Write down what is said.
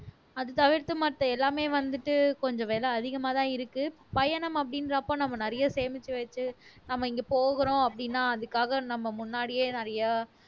அது தவிர்த்து மத்த எல்லாமே வந்துட்டு கொஞ்சம் விலை அதிகமாதான் இருக்கு பயணம் அப்படின்றப்ப நம்ம நிறைய சேமிச்சு வச்சு நம்ம இங்க போகிறோம் அப்படின்னா அதுக்காக நம்ம முன்னாடியே நிறைய